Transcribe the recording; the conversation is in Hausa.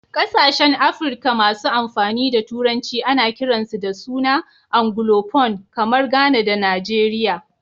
Kasashen Afrika masu amfani da Turanci ana kiransu da suna "Anglophone". Kamar Ghana da Nigeria.